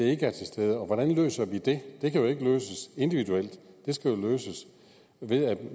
ikke er til stede og hvordan løser vi det det kan jo ikke løses individuelt det skal løses ved at